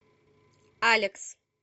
алекс